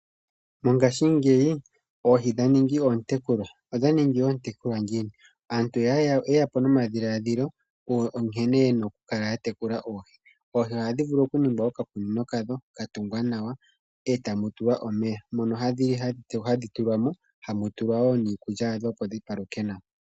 Mongashingeyi oohi dha ningi oontekulwa. Odha ningi oontekulwa ngiini? Aantu oye ya po nomadhiladhilo nkene ye na okukala ya tekula oohi. Oohi ohadhi vulu okunigilwa okakunino kadho, taka tungwa nawa, e tamu tulwa omeya, mono hadhi tulwa mo, e tamu tulwa wo niikulya yadho, opo dhi paluke nawa.